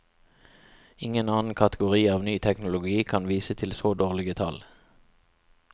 Ingen annen kategori av ny teknologi kan vise til så dårlige tall.